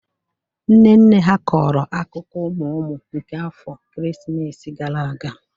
Nne nne ha kọrọ akụkọ ụmụ ụmụ nke afọ ekeresimesi gara aga